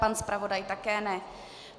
Pan zpravodaj také ne.